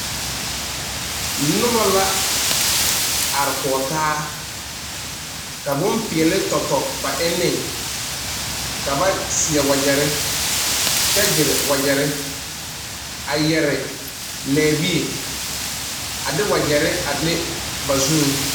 Noba la are kɔge taa ka bonpeɛle tɔtɔ ba enne ka ba seɛ wagyere kyɛ gyire wagyere a yɛre lɛɛ bie a de wagyere a le ba zuŋ.